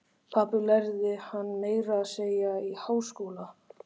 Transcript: Pabbi lærði hana meira að segja í háskóla.